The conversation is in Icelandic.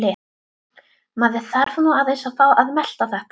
Maður þarf nú aðeins að fá að melta þetta.